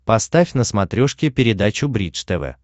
поставь на смотрешке передачу бридж тв